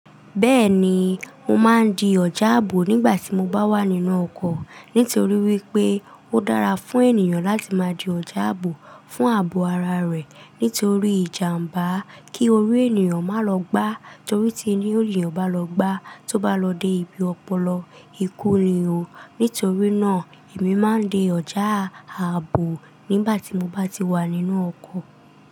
Bẹ́ẹ̀ni, mo máa ń di ọ̀já ààbò nígbà tí mo bá wà nínú ọkọ̀. Nítorí wípé ó dára fún ènìyàn láti máa di ọ̀já ààbò fún ààbò ara rẹ̀. Nítorí ìjàmbá kí orí ènìyàn má lọ gbá. Torí tí orí ènìyàn bá lọ gbá, tó bá lọ dé ibi ọpọlọ, ikú ni o. Nítorí náà èmi máa ń di ọ̀já ààbò nígbà tí mo bá ti wà nínú ọkọ̀.